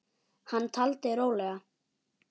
Hann taldi rólega